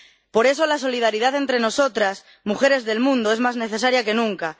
Por eso, la solidaridad entre nosotras, mujeres del mundo, es más necesaria que nunca